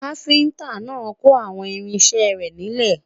kafinta nà kò àwọn irinṣẹ rè nílè